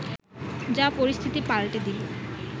যা পরিস্থিতি পাল্টে দিল